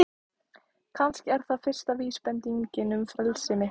Kannski er það fyrsta vísbendingin um frelsi mitt.